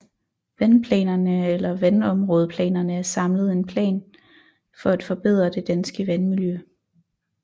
Vandplanerne eller Vandområdeplanerne er samlet en plan for at forbedre det danske vandmiljø